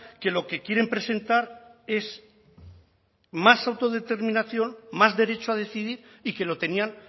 que lo que quieren presentar es más autodeterminación más derecho a decidir y que lo tenían